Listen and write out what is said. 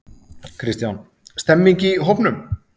Kristján: Stemmning í hópnum?